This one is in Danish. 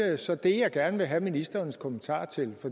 er så det jeg gerne vil have ministerens kommentarer til